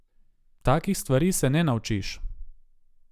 Takih stvari se ne naučiš.